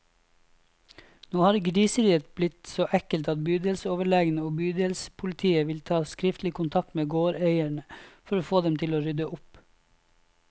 Nå har griseriet blitt så ekkelt at bydelsoverlegen og bydelspolitiet vil ta skriftlig kontakt med gårdeierne, for å få dem til å rydde opp.